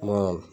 Kuma